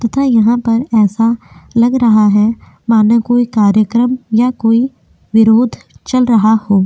तथा यहाँ पर ऐसा लग रहा है मानो कोई कार्यक्रम या कोई विरोध चल रहा हो।